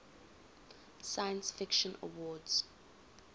science fiction awards